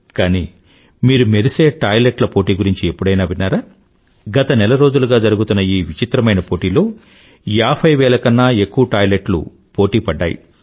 కానీ మీరు మెరిసే టాయిలెట్ ల పోటీ గురించి ఎప్పుడైనా విన్నారాగత నెల రోజులుగా జరుగుతున్న ఈ విచిత్రమైన పోటీలో ఏభైవేల కన్నా ఎక్కువ టాయిలెట్లు పోటీ పడ్డాయి